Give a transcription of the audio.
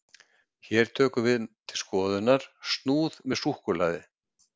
Hér tökum við til skoðunar snúð með súkkulaði.